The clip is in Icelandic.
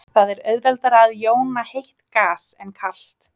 það er auðveldara að jóna heitt gas en kalt